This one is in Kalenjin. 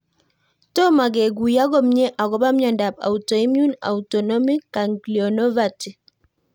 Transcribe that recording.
Tomo kekuyo komie akopo miondop autoimmune autonomic ganglionopathy?